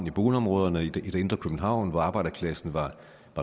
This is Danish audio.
boligområderne i det indre københavn hvor arbejderklassen var